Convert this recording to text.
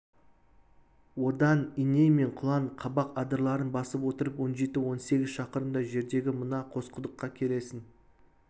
одан иней мен құлан қабақ адырларын басып отырып он жеті он сегіз шақырымдай жердегі мына қосқұдыққа келесің